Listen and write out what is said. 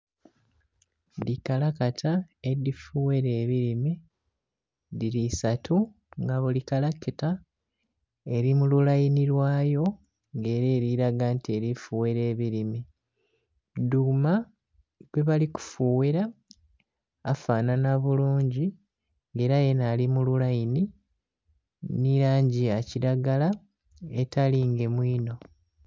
Dhikalakata edhifughera ebirime dhiri isatu nga buli kalakita eri mululaini lwayo nga era eriraga nti elifughera ebirime. Dhuma gwebali kufughera afanhanha bulungi era yenha alimululaini nhi langi eyakiragala etalingemu inho.